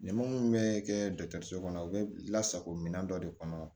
Ni ma mun bɛ kɛ dɔkitɛriso kɔnɔ u bɛ lasago minɛn dɔ de kɔnɔ